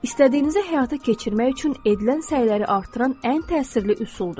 İstədiyinizi həyata keçirmək üçün edilən səyləri artıran ən təsirli üsuldur.